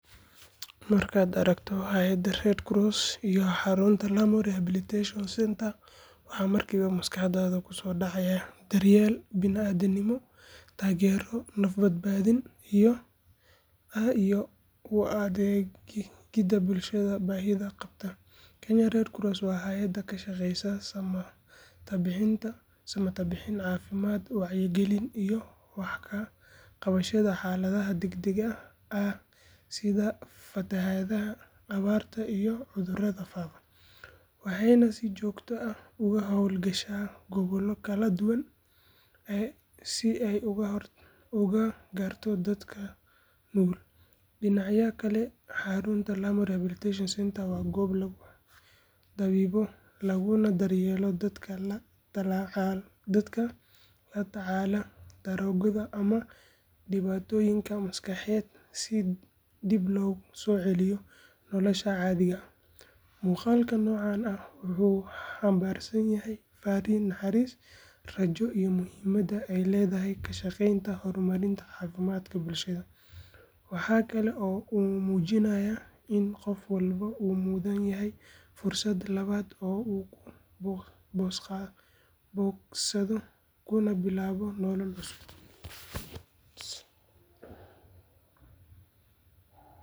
Markaad aragto hay’adda Kenya Red Cross iyo xarunta Lamu Rehabilitation Center waxaa markiiba maskaxdaada kusoo dhacaya daryeel bani’aadminimo, taageero naf badbaadin ah iyo u adeegidda bulshada baahida qabta. Kenya Red Cross waa hay’ad ka shaqeysa samatabbixin, caafimaad, wacyigelin iyo wax ka qabashada xaaladaha degdegga ah sida fatahaadaha, abaarta iyo cudurrada faafa, waxayna si joogto ah uga howl gashaa gobollo kala duwan si ay u gaarto dadka nugul. Dhinaca kale, xarunta Lamu Rehabilitation Center waa goob lagu dabiibo laguna daryeelo dadka la tacaalaya daroogada ama dhibaatooyin maskaxeed si dib loogu soo celiyo noloshooda caadiga ah. Muuqaalka noocan ah wuxuu xambaarsan yahay farriin naxariis, rajo iyo muhiimadda ay leedahay ka shaqeynta horumarinta caafimaadka bulshada. Waxa kale oo uu muujinayaa in qof walba uu mudan yahay fursad labaad oo uu ku bogsado kuna bilaabo nolol cusub.